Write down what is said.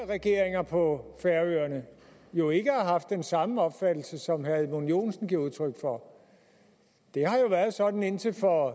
regeringer på færøerne jo ikke har haft den samme opfattelse som herre edmund joensen giver udtryk for det har jo været sådan indtil for